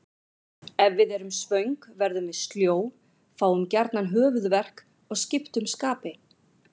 Ef við erum svöng verðum við sljó, fáum gjarnan höfuðverk og skiptum skapi.